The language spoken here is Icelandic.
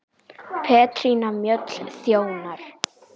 Petrína Mjöll þjónar.